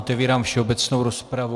Otevírám všeobecnou rozpravu.